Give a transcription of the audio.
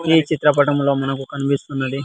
ఈ చిత్రపటంలో మనకు కనిపిస్తున్నది.